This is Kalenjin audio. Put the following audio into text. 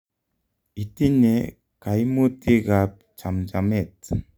itinye kaimutig ab chamjamet